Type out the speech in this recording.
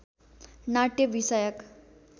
नाट्य विषयक